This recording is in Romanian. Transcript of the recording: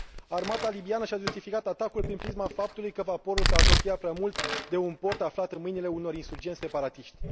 Armata libiană și a justificat atacul prin prisma faptului că vaporul s a apropiat prea mult de un port aflat în mâinile unor insurgenți separatiști.